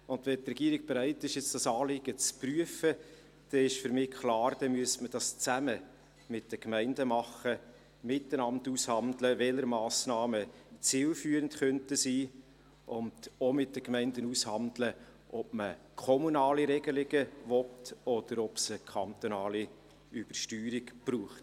Und wenn die Regierung bereit ist, dieses Anliegen jetzt zu prüfen, dann ist für mich klar, dass man das zusammen mit den Gemeinden machen, miteinander aushandeln müsste, welche Massnahmen zielführend sein könnten und auch mit den Gemeinden aushandeln müsste, ob man kommunale Regelungen möchte, oder ob es eine kantonale Übersteuerung braucht.